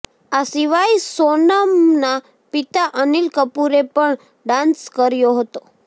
આ સિવાય સોનમનાં પિતા અનિલ કપૂરે પણ ડાંસ કર્યો હતો